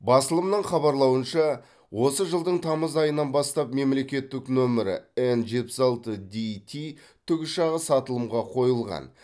басылымның хабарлауынша осы жылдың тамыз айынан бастап мемлекеттік нөмірі эн жетпіс алты дити тікұшағы сатылымға қойылған